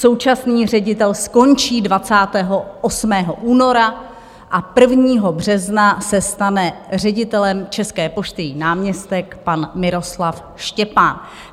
Současný ředitel skončí 28. února a 1. března se stane ředitelem České pošty její náměstek pan Miroslav Štěpán.